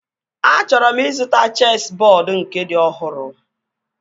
Achọrọ m ịzụta chesị bọọdu nke dị ọhụrụ